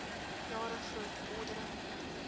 jare groot vordering